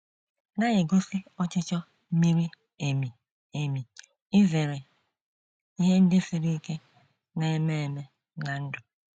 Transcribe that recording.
na - egosi ọchịchọ miri emi emi izere ihe ndị siri ike na - eme eme ná ndụ.